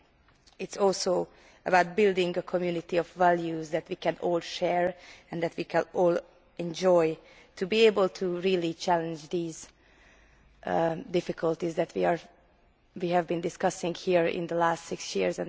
It is also about building a community of values that we can all share, and that we can all enjoy, to be able to really challenge the difficulties that we have been discussing here over the last six years.